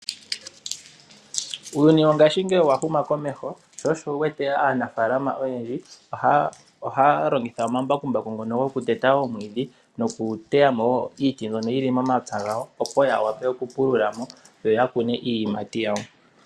Uuyuni wongaashingeyi owahuma komeho, sho osho wuwete aanafaalama oyendji, ohaalongitha omambakumbaku ngono gokuteta omwiidhi nokuteyamo wo iiti mbyono yili momapya gawo, opo ya wape okupululamo yo ya kune iiyimati yawo.